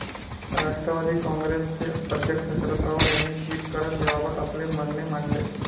राष्ट्रवादी काँग्रेसचे अध्यक्ष शरद पवार यांनी ट्विट करत याबाबत आपले म्हणणे मांडले.